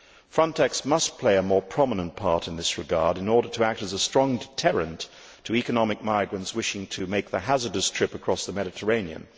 Frontex must play a more prominent part in this regard in order to act as a strong deterrent to economic migrants wishing to make the hazardous trip across the Mediterranean.